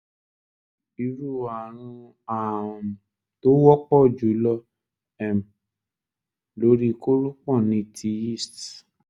irú ààrun um tó wọ́pọ̀ jùlọ um lórí kórópọ̀n ni ti yeast